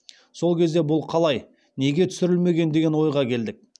сол кезде бұл қалай неге түсірілмеген деген ойға келдік